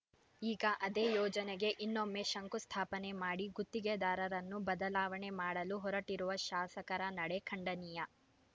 ಈಗ ಅದೇ ಯೋಜನೆಗೆ ಇನ್ನೊಮ್ಮೆ ಶಂಕು ಸ್ಥಾಪನೆ ಮಾಡಿ ಗುತ್ತಿಗೆದಾರರನ್ನು ಬದಲಾವಣೆ ಮಾಡಲು ಹೊರಟಿರುವ ಶಾಸಕರ ನಡೆ ಖಂಡನೀಯ